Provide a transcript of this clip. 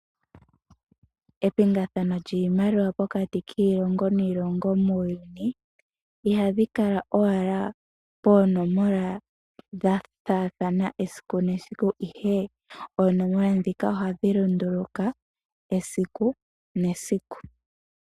Epingathano lyiimaliwa pokati kiilongo niilongo muuyuni. Ihadhi kala owala poonomola dha faathana esiku nesiku ihe oonomola ndika ohadhi lunduluka esiku nesiku.